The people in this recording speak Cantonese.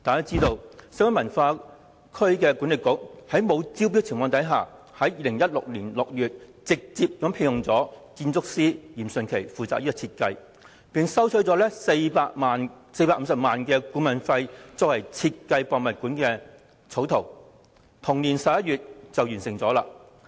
眾所周知，西九管理局在未經招標的情況下，於2016年6月直接聘用建築師嚴迅奇負責設計，並向其支付450萬元顧問費，嚴迅奇須於同年11月完成故宮館草圖。